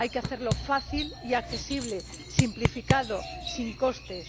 Hay que hacerlo fácil y accesible, simplificado, sin costes.